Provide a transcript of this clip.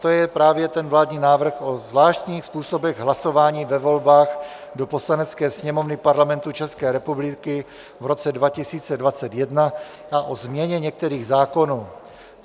To je právě ten vládní návrh o zvláštních způsobech hlasování ve volbách do Poslanecké sněmovny Parlamentu České republiky v roce 2021 a o změně některých zákonů.